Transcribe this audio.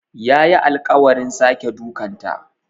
Yayi alƙawarin sake dukanta.